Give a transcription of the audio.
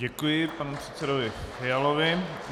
Děkuji panu předsedovi Fialovi.